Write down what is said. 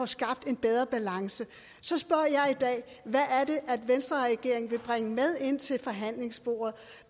skabe bedre balance så spørger jeg i dag hvad er det venstreregeringen vil bringe med ind til forhandlingsbordet